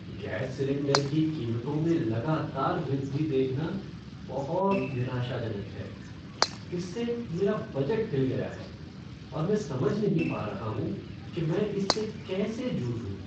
Gas cylinder की कीमतों में लगातार वृद्धि देखना बहुत निराशाजनक है। इससे मेरा बजट हिल गया है, और मैं समझ नहीं पा रहा हूँ कि मैं इससे कैसे जूझूं।